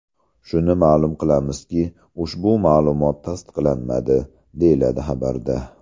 Shuni ma’lum qilamizki, ushbu ma’lumot tasdiqlanmadi”, deyiladi xabarda.